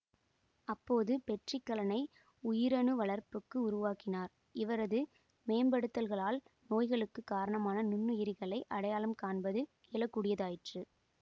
அப்போது பெட்ரி கலனை உயிரணு வளர்ப்புக்கு உருவாக்கினார் இவரது மேம்படுத்தல்களால் நோய்களுக்கு காரணமான நுண்ணுயிரிகளை அடையாளம் காண்பது இயலக்கூடியதாயிற்று